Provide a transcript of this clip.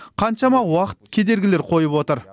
қаншама уақыт кедергілер қойып отыр